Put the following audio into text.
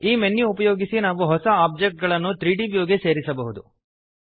ಈ ಮೆನ್ಯು ಉಪಯೋಗಿಸಿ ನಾವು ಹೊಸ ಒಬ್ಜೆಕ್ಟ್ ಗಳನ್ನು 3ದ್ ವ್ಯೂ ಗೆ ಸೇರಿಸಬಹುದು